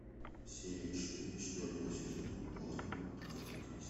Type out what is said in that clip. серия четыре четвертого сезона пуаро агаты кристи